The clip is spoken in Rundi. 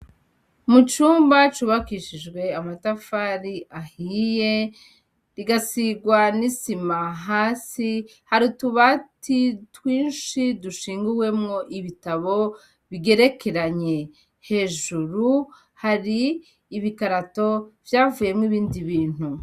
Mu cumba cubakishijwe amatafari ahiye kigasigwa n'isima hasi hari utubati twinshi dushinguwemwo ibitabo bigerekeranye hejuru hari ibikarato vyavuyemwo ibindi bintu.